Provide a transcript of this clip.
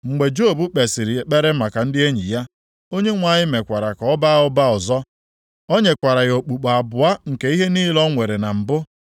Mgbe Job kpesịrị ekpere maka ndị enyi ya, Onyenwe anyị mekwara ka ọ baa ụba ọzọ. O nyekwara ya okpukpo abụọ nke ihe niile o nwere na mbụ.